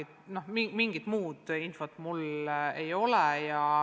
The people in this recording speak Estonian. Täna mul mingit muud infot ei ole.